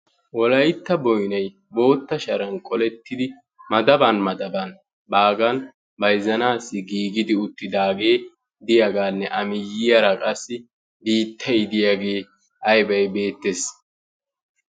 Wolaytta boynay bootta sharan qolettidi madaban madaban baagan bayzzanaassi giigidi uttidaagee diyagaanne a miyyiyara qassi biittay diyagee aybay beettees.